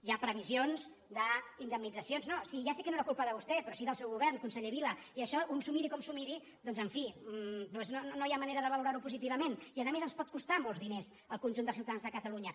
hi ha previsions d’indemnitzacions no si ja sé que no era culpa de vostè però sí del seu govern conseller vila i això un s’ho miri com s’ho miri doncs en fi no hi ha manera de valorar·ho positivament i a més ens pot costar molts diners al conjunt dels ciutadans de cata·lunya